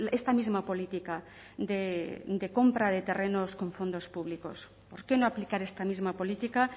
esta misma política de compra de terrenos con fondos públicos por qué no aplicar esta misma política